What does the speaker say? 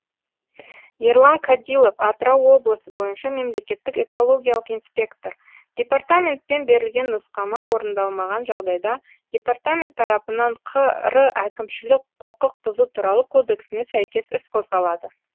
ерлан кадилов атырау облысы бойынша мемлекеттік экологиялық инспектор департаментпен берілген нұсқама орындалмаған жағдайда департамент тарапынан қр әкімшілік құқық бұзу туралы кодексіне сәйкес іс қозғалады